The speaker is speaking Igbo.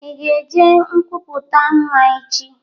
Ị ga eje nkwupụta nwa echi?